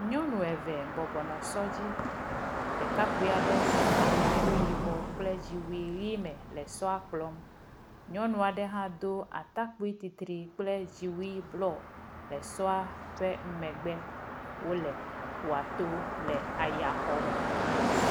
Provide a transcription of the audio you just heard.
Nyɔnu eve bɔbɔnɔ sɔ dzí, ɖekakpui aɖe le atakpui yibɔ kple dziwui ɣi me le sɔa kplɔm, nyɔnu aɖe hã dó atakpui titri kple dziwui blɔ le sɔa ƒe megbe wólè aƒuató le ayaxɔm.